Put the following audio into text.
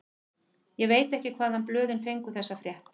Ég veit ekki hvaðan blöðin fengu þessa frétt.